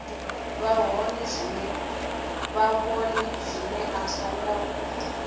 vha hone zwino a songo